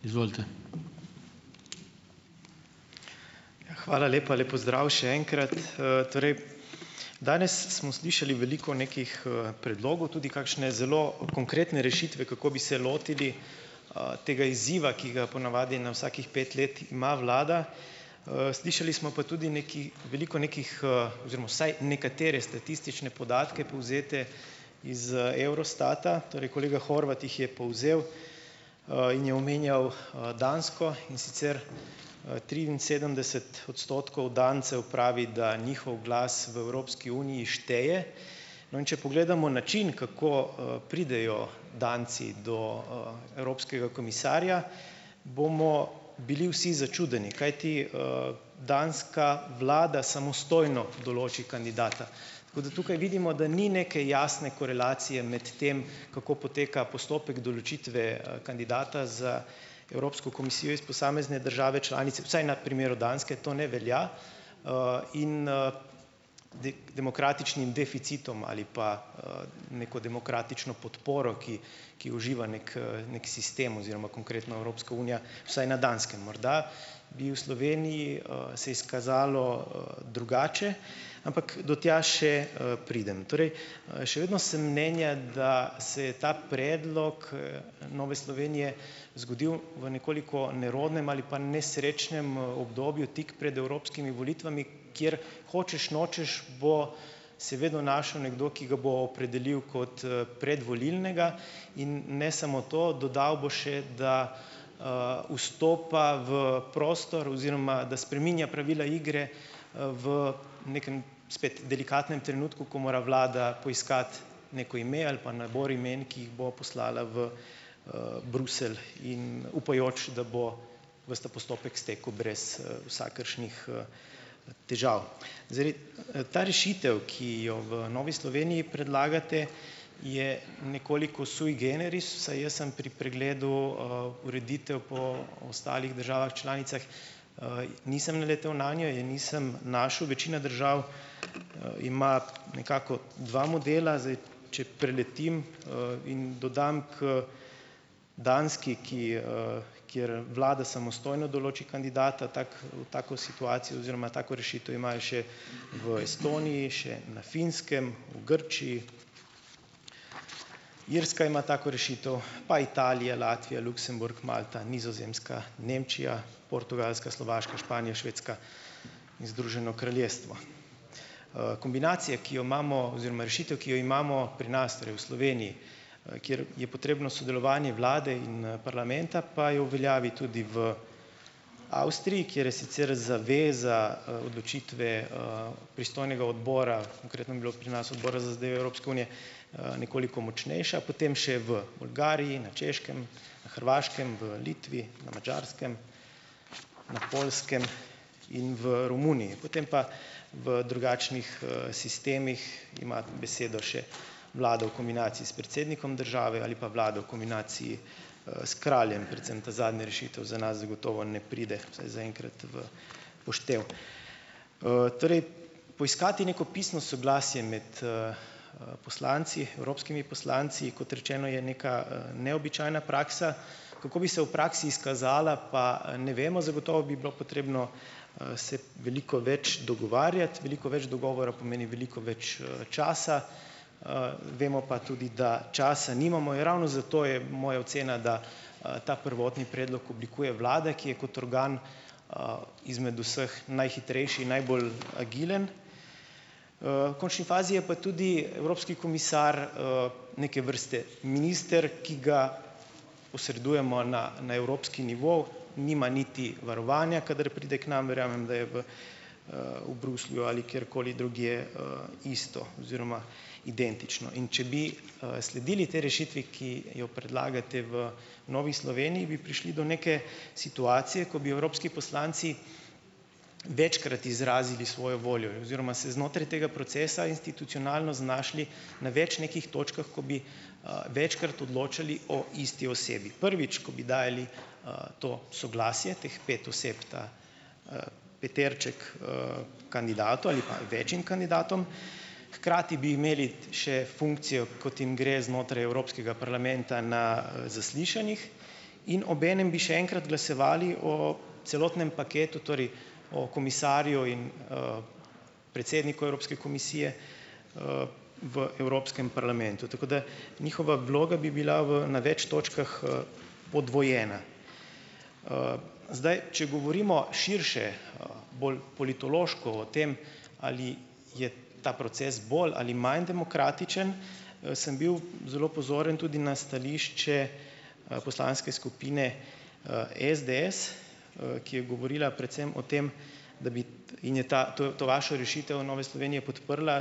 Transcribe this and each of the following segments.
Izvolite. Hvala lepa, lep pozdrav še enkrat, torej danes smo slišali veliko nekih, predlogov tudi kakšne zelo konkretne rešitve, kako bi se lotili, tega izziva, ki ga ga ponavadi na vsakih pet let ima vlada, slišali smo pa tudi nekaj veliko nekih, oziroma vsaj nekatere statistične podatke povzete iz, Eurostata, torej kolega Horvat jih je povzel, in je omenjal, Dansko, in sicer, triinsedemdeset odstotkov Dancev pravi, da njihov glas v Evropski uniji šteje, no, in če pogledamo način kako, pridejo Danci do, evropskega komisarja, bomo bili vsi začudeni kajti, Danska vlada samostojno določi kandidata, tako da tukaj vidimo, da ni neke jasne korelacije med tem, kako poteka postopek določitve, kandidata za Evropsko komisijo iz posamezne države članice, vsaj na primeru Danske to ne velja, in, demokratičnim deficitom ali pa, neko demokratično podporo, ki ki uživa neki, neki sistem oziroma konkretno Evropska unija, vsaj na Danskem morda, bi v Sloveniji, se izkazalo, drugače, ampak do tja še, pridem, torej, še vedno sem mnenja, da se je ta predlog, Nove Slovenije zgodil v nekoliko nerodnem ali pa nesrečnem, obdobju tik pred evropskimi volitvami, kjer hočeš nočeš bo se vedno našel nekdo, ki ga bo opredelil kot, predvolilnega in ne samo to, dodal bo še, da, vstopa v prostor oziroma da spreminja pravila igre, v nekem spet delikatnem trenutku, ko mora vlada poiskati neko ime ali pa nabor imen, ki jih bo poslala v, Bruselj in upajoč, da bo ves ta postopek stekel brez, vsakršnih, težav, zdaj vi, ta rešitev, ki jo v Novi Sloveniji predlagate, je nekoliko sui generis, saj jaz sem pri pregledu, ureditev po ostalih državah članicah, nisem naletel nanjo in nisem našel, večina držav, ima nekako dva modela, zdaj če preletim, in dodam k Danski, ki, kjer vlada samostojno določi kandidata, tako, v tako situacijo oziroma tako rešitev imajo še v Estoniji, še na Finskem, v Grčiji, Irska ima tako rešitev, pa Italija, Latvija, Luksemburg, Malta, Nizozemska, Nemčija, Slovaška, Portugalska, Španija, Švedska in Združeno kraljestvo, kombinacija, ki jo imamo, oziroma rešitev, ki jo imamo pri nas v Sloveniji, kjer je potrebno sodelovanje vlade in, parlamenta pa je v veljavi tudi v Avstriji, kjer je sicer zaveza, odločitve, pristojnega odbora, nekoliko močnejša, potem še v Bolgariji, na Češkem, na Hrvaškem, v Litvi, na Madžarskem, Poljskem in v Romuniji, potem pa v drugačnih, sistemih ima besedo še vlada v kombinaciji s predsednikom države ali pa vlada v kombinaciji, s kraljem, predvsem ta zadnja rešitev za nas zagotovo ne pride, saj zaenkrat v poštev, torej poiskati neko pisno soglasje med, poslanci, evropskimi poslanci, kot rečeno, je neka, neobičajna praksa, kako bi se v praksi izkazala, pa ne vemo, zagotovo bi bilo potrebno, se veliko več dogovarjati, veliko več dogovora pomeni veliko več, časa, vemo pa tudi, da časa nimamo, in ravno zato je moja ocena, da, ta prvotni predlog oblikuje vlada, ki je kot organ, izmed vseh najhitrejši in najbolj agilen, v končni fazi je pa tudi evropski komisar, neke vrste minister, ki ga posredujemo na na evropski nivo, nima niti varovanja, kadar pride k nam, verjamem, da je v, v Bruslju ali kjerkoli drugje, isto oziroma identično, in če bi, sledili tej rešitvi, ki jo predlagate v Novi Sloveniji, bi prišli do neke situacije, ki bi evropski poslanci večkrat izrazili svojo voljo oziroma se znotraj tega procesa institucionalno znašli na več nekih točkah, ko bi, večkrat odločali o isti osebi, prvič, ko bi dajali, to soglasje teh pet oseb, ta, peterček, kandidatom ali pa večim kandidatom, hkrati bi imeli še funkcijo, kot jim gre znotraj evropskega parlamenta na zaslišanjih, in obenem bi še enkrat glasovali o celotnem paketu, torej o komisarju, in, predsedniku Evropske komisije, v evropskem parlamentu, tako da njihova vloga bi bila v na več točkah, podvojena, zdaj, če govorimo širše, bolj politološko o tem, ali je ta proces bolj ali manj demokratičen, sem bil zelo pozoren tudi na stališče, poslanske skupine, SDS, ki je govorila predvsem o tem, da bi in je ta to, to vašo rešitev Nove Slovenije podprla,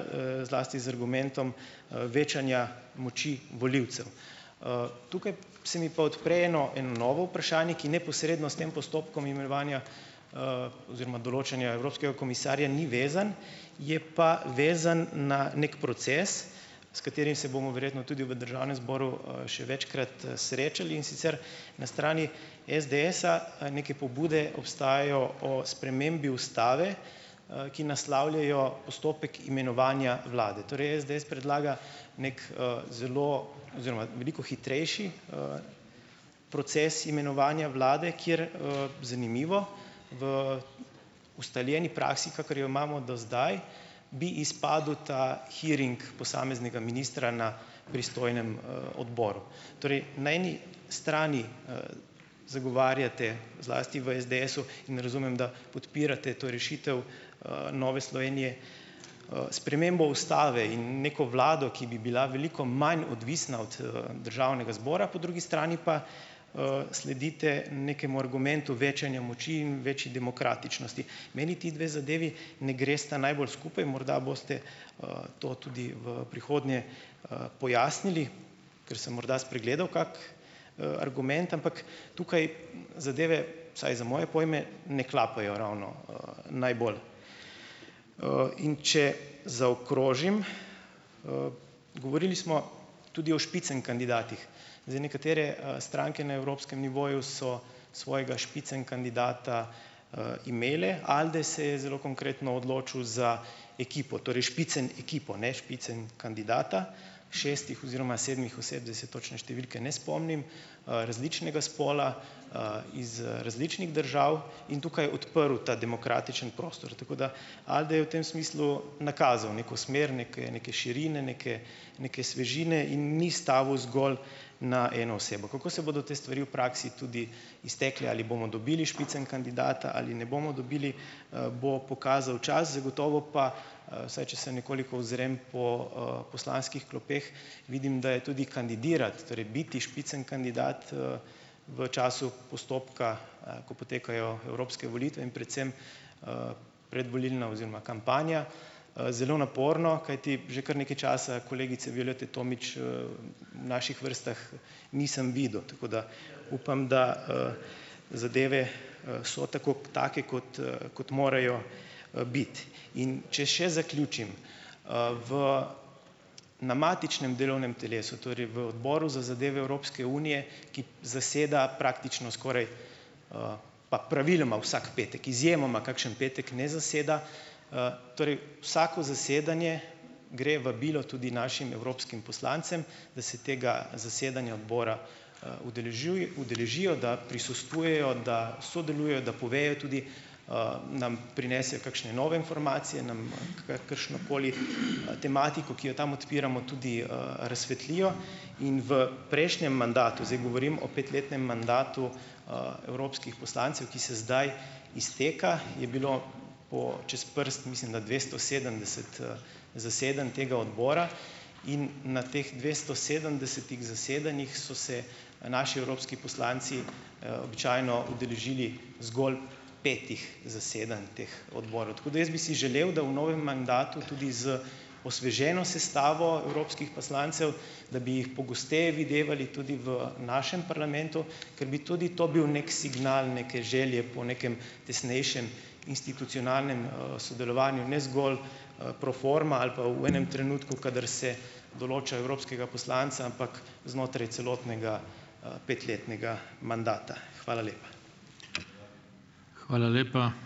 zlasti z argumentom, večanja moči volilcev, tukaj se mi pa odpre eno, eno novo vprašanje, ki neposredno s tem postopkom imenovanja, oziroma določanja evropskega komisarja ni vezan, je pa vezan na neki proces, s katerim se bomo verjetno tudi v državnem zboru, še večkrat, srečali, in sicer na strani SDS-a, neke pobude obstajajo o spremembi ustave, ki naslavljajo postopek imenovanja vlade, torek SDS predlaga neki, zelo oziroma veliko hitrejši, proces imenovanja vlade, kjer, zanimivo, v ustaljeni praksi, kakor jo imamo do zdaj, bi izpadel ta hearing posameznega ministra na pristojnem, odboru, torej na eni strani, zagovarjate, zlasti v SDS-u ne razumem, da podpirate to rešitev, Nove Slovenije, spremembo ustave in neko vlado, ki bi bila veliko manj odvisna od, državnega zbora, po drugi strani pa, sledite nekemu argumentu večanja moči in večji demokratičnosti, meni ti dve zadevi ne gresta najbolj skupaj, morda boste, to tudi v prihodnje, pojasnili, ker sem morda spregledal kak, argument, ampak tukaj zadeve, vsaj za moje pojme ne klapajo ravno, najbolj. in če zaokrožim, govorili smo tudi o spitzenkandidatih, zdaj, nekatere, stranke na evropskem nivoju so svojega spitzenkandidata, imele ali da se je zelo konkretno odločil za ekipo, torej spitzenekipo, ne spitzenkandidata, šestih oziroma sedmih oseb, zdaj se točne številke ne spomnim, različnega spola, iz različnih držav in tukaj odprl ta demokratični prostor, tako da Alde je v tem smislu nakazal neko smer neke, neke širine, neke, neke svežine in ni stavil zgolj na eno osebo, kako se bodo te stvari v praksi tudi iztekle, ali bomo dobili spitzenkandidata ali ne, bomo dobili, bo pokazal čas, zagotovo pa, saj če se nekoliko ozrem po, poslanskih klopeh, vidim, da je tudi kandidirati, torej biti spitzenkandidat, v času postopka, ko potekajo evropske volitve in predvsem, predvolilna oziroma kampanja, zelo naporno, kajti že kar nekaj časa kolegice Violete Tomić, naših vrstah nisem videl, tako da upam, da, zadeve, so tako, take kot, kot morajo, biti, in če še zaključim, v na matičnem delovnem telesu, torej v odboru za zadeve Evropske unije, ki zaseda praktično skoraj, pa praviloma vsak petek, izjemoma kakšen petek ne zaseda, torej vsako zasedanje gre vabilo tudi našim evropskim poslancem, da se tega zasedanja odbora, udeležijo, da prisostvujejo, da sodelujejo, da povejo tudi, nam prinesejo kakšne nove informacije, nam kakršnokoli tematiko, ki jo tam odpiramo tudi, razsvetlijo in v prejšnjem mandatu, zdaj govorim o petletnem mandatu, evropskih poslancev, ki se zdaj izteka, je bilo po čez prst, mislim, da dvesto sedemdeset, zasedanj tega odbora in na teh dvesto sedemdesetih zasedanjih so se naši evropski poslanci, običajno udeležili zgolj petih zasedanj teh odborov, tako da jaz bi si želel, da v novem mandatu tudi z osveženo sestavo evropskih poslancev, da bi jih pogosteje videvali tudi v našem parlamentu, ker bi tudi to bil neki signal neke želje po nekem tesnejšem institucionalnem, sodelovanju, ne zgolj, pro forma ali pa v enem trenutku, kadar se določa evropskega poslanca, ampak znotraj celotnega, petletnega mandata, hvala lepa. Hvala lepa.